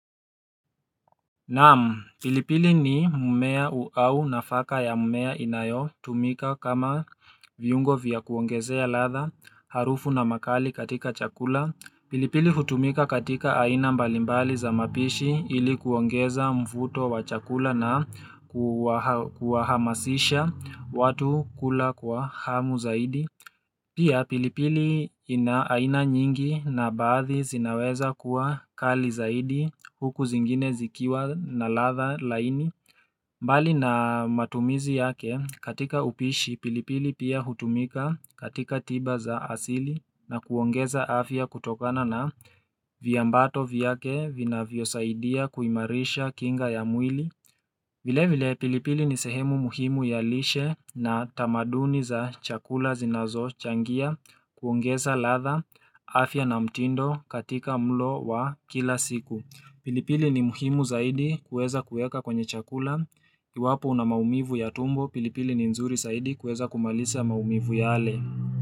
Naam, pilipili ni mmea au nafaka ya mmea inayo tumika kama viyungo vya kuongezea ladha harufu na makali katika chakula. Pilipili hutumika katika aina mbalimbali za mapishi ilikuongeza mfuto wa chakula na kuahamasisha watu kula kwa hamu zaidi Pia pilipili ina aina nyingi na baadhi zinaweza kuwa kali zaidi huku zingine zikiwa na ladha laini mbali na matumizi yake katika upishi pilipili pia hutumika katika tiba za asili na kuongeza afya kutokana na viambato vyake vina vyo saidia kuimarisha kinga ya mwili vile vile pilipili ni sehemu muhimu ya lishe na tamaduni za chakula zinazo changia kuongeza ladha afya na mtindo katika mlo wa kila siku. Pilipili ni muhimu zaidi kueza kueka kwenye chakula iwapo una maumivu ya tumbo. Pilipili ni nzuri zaidi kueza kumalisa maumivu yale.